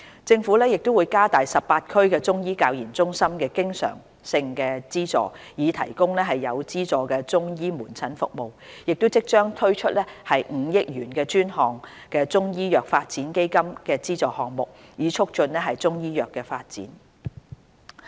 政府會加大18區中醫教研中心的經常性資助，以提供有資助中醫門診服務；亦即將推出5億元專項中醫藥發展基金的資助項目，以促進中醫藥發展。